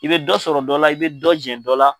I bɛ dɔ sɔrɔ dɔ la i bɛ dɔ jɛn dɔ la.